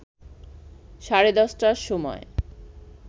সাড়ে ১০টার সময়